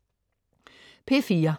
P4: